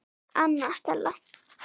Anna Stella.